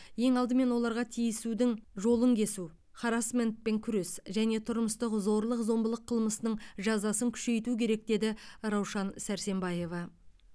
ең алдымен оларға тиісудің жолын кесу харассментпен күрес және тұрмыстық зорлық зомбылық қылмысының жазасын күшейту керек деді раушан сәрсембаева